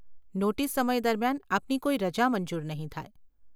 Notice સમય દરમિયાન આપની કોઈ રજા મંજૂર નહીં થાય.